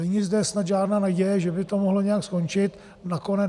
Není zde snad žádná naděje, že by to mohlo nějak skončit.